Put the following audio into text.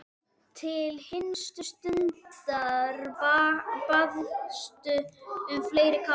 Til hinstu stundar baðstu um fleiri kafla.